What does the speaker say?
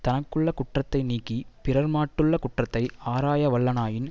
தனக்குள்ள குற்றத்தை நீக்கி பிறர் மாட்டுள்ள குற்றத்தை ஆராயவல்லனாயின்